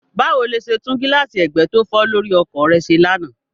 Báwo lo ṣe tún gíláàsì ẹgbẹ́ tó fọ́ lórí ọkọ̀ rẹ ṣe lánàá?